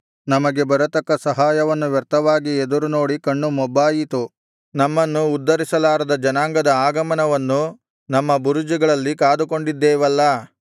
ನಮಗೆ ಬರತಕ್ಕ ಸಹಾಯವನ್ನು ವ್ಯರ್ಥವಾಗಿ ಎದುರುನೋಡಿ ಕಣ್ಣು ಮೊಬ್ಬಾಯಿತು ನಮ್ಮನ್ನು ಉದ್ಧರಿಸಲಾರದ ಜನಾಂಗದ ಆಗಮನವನ್ನು ನಮ್ಮ ಬುರುಜುಗಳಲ್ಲಿ ಕಾದುಕೊಂಡಿದ್ದೇವಲ್ಲಾ